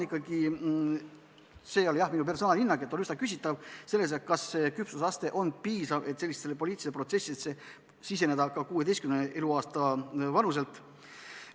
See ei ole minu personaalhinnang, aga on üsna küsitav, kas küpsusaste on piisav, et sellistesse poliitilistesse protsessidesse siseneda ka 16 aasta vanuselt.